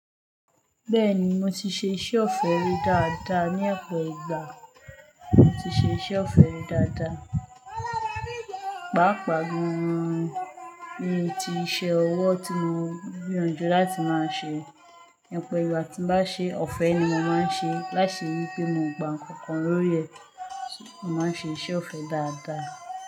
Bẹ́ẹ̀ni mo ti ṣe iṣẹ́ ọ̀fẹ́ rí dáadáa, ní ọpọ̀ ìgbà mo ti ṣe iṣẹ́ ọ̀fẹ́ rí dáadáa. Pàápàá gan-an ni ti iṣẹ́ ọwọ́ tí mo gbìyànjú láti máa ṣe. Opọ̀ ìgbà tí n bá ṣe ọ̀fẹ́ ni mo máa ń ṣe, láìṣe wí pé mo gba nǹkan kan lórí ẹ̀, mo máa ń ṣe iṣẹ́ ọ̀fẹ́ dáadáa.